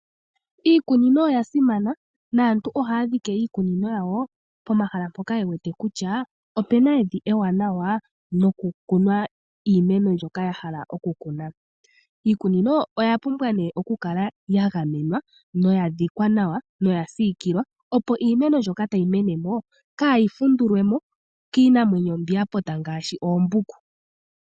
Iikunino oya simana naantu ohaya dhike iikunino yawo pomahala mpoka ye wete kutya opu na evi ewanawa nokukunwa iimeno mbyoka ya hala okukunwa. Iikunino oya pumbwa okukala ya gamenwa noya dhikwa nawa noya siikilwa, opo iimeno mbyoka tayi mene mo kaayi fundulwe mo kiinamwenyo mbi ya pota ngaashi oombuku.